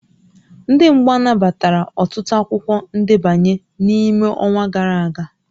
Ndị mgba nabatara ọtụtụ akwụkwọ ndebanye n'ime ọnwa gara aga